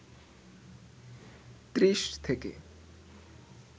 ত্রিশ থেকে